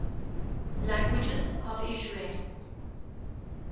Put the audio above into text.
languages of israel